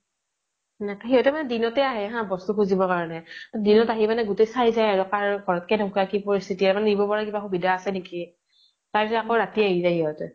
সিহঁতে মানে দিনতে আহে হা বস্তু খুজিব কাৰণে । দিনত আহি মানে গোটেই চাই যায় আৰু কাৰ ঘৰ ত কেনেকুৱা, কি পৰিস্তিতি মানে নিব পৰা কিবা সুবিধা আছে নেকি । তাৰ পিছত আকৌ ৰাতি আহি যায় সিহঁতে ।